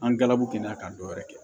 An gabu kɛnɛya ka dɔ wɛrɛ kɛ